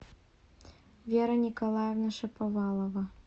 вера николаевна шаповалова